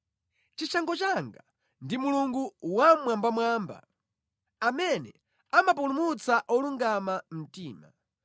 Chishango changa ndi Mulungu Wammwambamwamba, amene amapulumutsa olungama mtima.